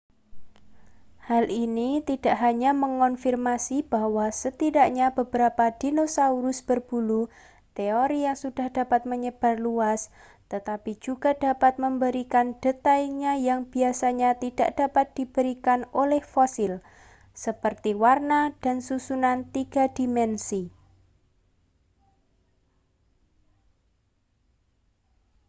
hal ini tidak hanya mengonfirmasi bahwa setidaknya beberapa dinosaurus berbulu teori yang sudah menyebar luas tetapi juga dapat memberikan detail yang biasanya tidak dapat diberikan oleh fosil seperti warna dan susunan tiga dimensi